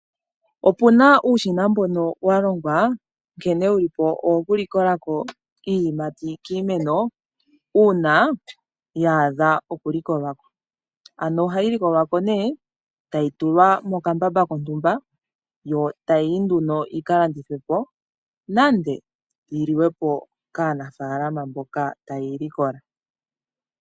Opu na uushina mbono wa longwa, nkene wu li po owokulikola ko iiyimati kiimeno uuna ya adha okulikolwa ko. Ano ohayi likolwa ko nduno, tayi tulwa mokambamba kontumba, yo tayi yi nduno yi ka landithwe po, nande yi liwe po kaanafaalama mboka taye yi likola.